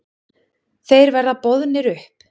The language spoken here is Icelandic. Þeir verða boðnir upp.